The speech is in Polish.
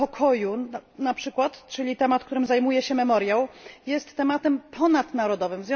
sprawa pokoju, czyli temat, którym zajmuje się Memoriał, jest tematem ponadnarodowym.